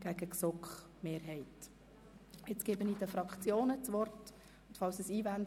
Nun erteile ich den Fraktionen das Wort.